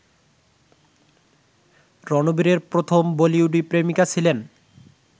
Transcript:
রণবীরের প্রথম বলিউডি প্রেমিকা ছিলেন